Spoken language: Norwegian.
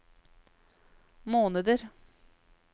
måneder